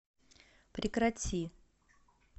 прекрати